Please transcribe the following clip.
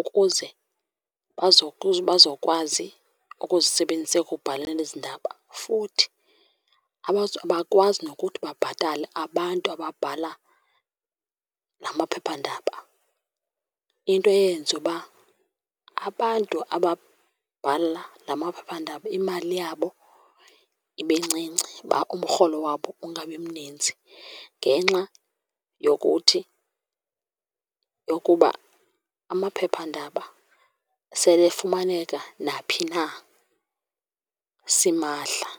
ukuze bazokwazi ukuzisebenzisa ekubhaleni ezi ndaba. Futhi abakwazi nokuthi babhatale abantu ababhala la maphephandaba, into eyenza uba abantu ababhala la maphephandaba imali yabo ibe ncinci, umrholo wabo ungabi mnintsi. Ngenxa yokuthi yokuba amaphephandaba sele efumaneka naphi na simahla.